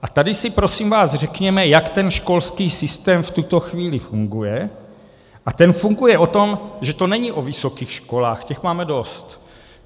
A tady si prosím vás řekněme, jak ten školský systém v tuto chvíli funguje, a ten funguje o tom, že to není o vysokých školách, těch máme dost.